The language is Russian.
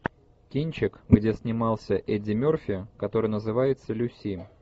кинчик где снимался эдди мерфи который называется люси